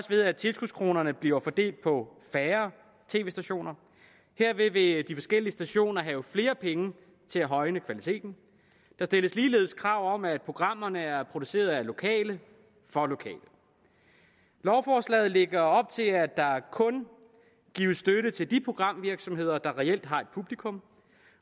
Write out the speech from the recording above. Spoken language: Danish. ved at tilskudskronerne bliver fordelt på færre tv stationer herved vil de forskellige stationer have flere penge til at højne kvaliteten der stilles ligeledes krav om at programmerne er produceret af lokale for lokale lovforslaget lægger op til at der kun gives støtte til de programvirksomheder der reelt har et publikum